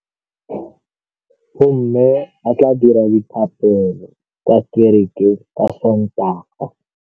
Bommê ba tla dira dithapêlô kwa kerekeng ka Sontaga.